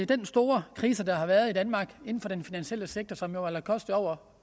den store krise der har været i danmark inden for den finansielle sektor og som jo har kostet over